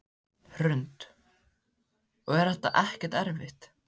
Hrund: Og er þetta ekkert erfitt?